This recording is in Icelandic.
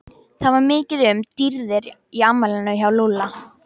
Það var mikið um dýrðir í afmælinu hjá Lúlla.